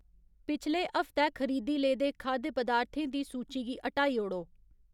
पिछले हफ्तै खरीदी लेदे खाद्य पदार्थें दी सूची गी हटाई ओड़ो